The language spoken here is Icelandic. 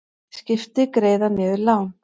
Skipti greiða niður lán